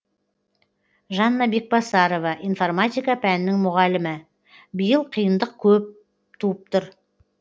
жанна бекбасарова информатика пәнінің мұғалімі биыл қиындық көп туып тұр